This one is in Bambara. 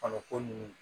A bɛ komi